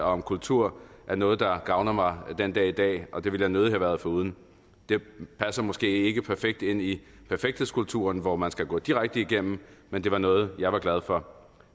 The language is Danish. om kultur er noget der gavner mig den dag i dag og det ville jeg nødig have været foruden det passer måske ikke perfekt ind i perfekthedskulturen hvor man skal gå direkte igennem men det var noget jeg var glad for